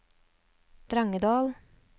Drangedal